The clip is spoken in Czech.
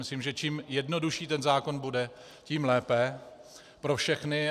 Myslím, že čím jednodušší ten zákon bude, tím lépe pro všechny.